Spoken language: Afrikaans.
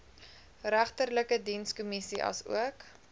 regterlike dienskommissie asook